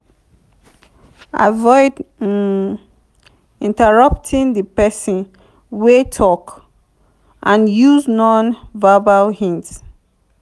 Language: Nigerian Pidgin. avoid um interrupting di person wey talk and use non-verbal hints